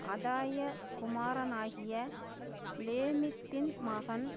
அதாய குமாரனாகிய லேமித்தின் மகன்